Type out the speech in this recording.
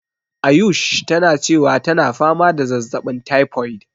Ayush tana cewa tana fama da zazzaɓin typhoid.